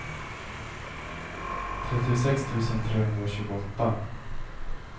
trettiosex tusen trehundratjugoåtta